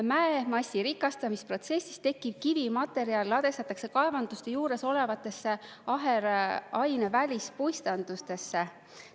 Mäemassi rikastamisprotsessis tekkiv kivimaterjal ladestatakse kaevanduste juures olevatesse aheraine välispuistandustesse.